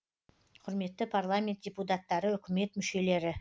құрметті парламент депутаттары үкімет мүшелері